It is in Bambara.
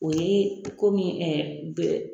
O ye ko min bɛ